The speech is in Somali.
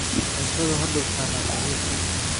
Cuntadu ha dul saarnaato miiska.